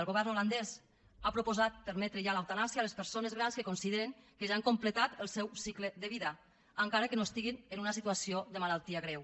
el govern holandès ha proposat permetre ja l’eutanàsia a les persones grans que consideren que ja han completat el seu cicle de vida encara que no estiguin en una situació de malaltia greu